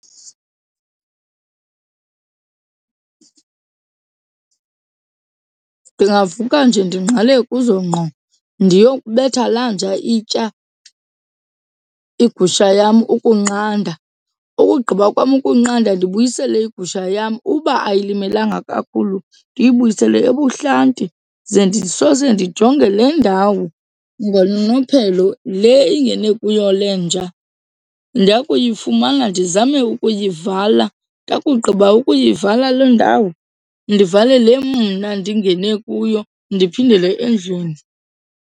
Ndingavuka nje ndingqale kuzo ngqo ndiyokubetha la nja itya igusha yam ukunqanda, ukugqiba kwam ukunqanda ndibuyisele igusha yam. Uba ayimelanga kakhulu ndiyibuyisele ebuhlanti ze ndisose ndijonge le ndawo ngononophelo le ingene kuyo le nja. Ndakuyifumana ndizame ukuyivala. Ndakugqiba ukuyivala loo ndawo, ndivale le mna ndingene kuyo ndiphindele endlini.